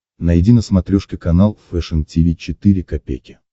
найди на смотрешке канал фэшн ти ви четыре ка